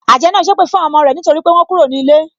Àjẹ́ náà sépè fún àwọn ọmọ rẹ nítorí pé wọ́n kúrò ní ilé.